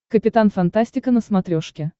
капитан фантастика на смотрешке